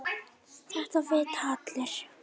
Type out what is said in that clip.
Þetta vita allir.